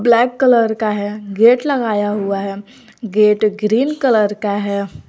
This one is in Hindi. ब्लैक कलर का है गेट लगाया हुआ है गेट ग्रीन कलर का है।